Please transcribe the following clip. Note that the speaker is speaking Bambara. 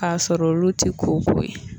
K'a sɔr'olu ti koko ye.